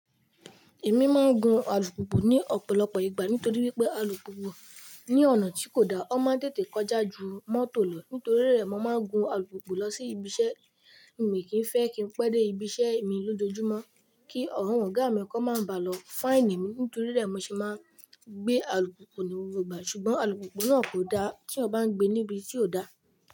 Èmi máa ń gun alùpùpù ní ọ̀pọ̀lọpọ̀ ìgbà nítorí wípé alùpùpù ní ọ̀nà tí kò da, ó máa ń tètè kọjá ju mọ́tò lọ nítorí rẹ̀, mo máa ń gun alùpùpù lọ sí ibiṣẹ́. Mi kìi n fẹ́ kí n pẹ́ dé ibiṣẹ́ mi lójoojúmọ́ kí àwọn ọ̀gá mi kọ́n máa bàa lọ faini mi nítorí rẹ̀ mo se máa ń gbé alùpùpù ní gbogbo ìgbà ṣùgbọ́n alùpùpù náà kò da t'eyan ọ bá ń gbé níbi tí ò da.